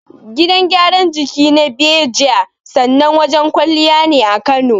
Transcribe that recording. Gidan gyaran jiki na Beejay, sanannen wajen kwalliya ne a Kano.